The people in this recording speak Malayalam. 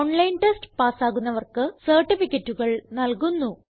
ഓൺലൈൻ ടെസ്റ്റ് പാസ്സാകുന്നവർക്ക് സർട്ടിഫികറ്റുകൾ നല്കുന്നു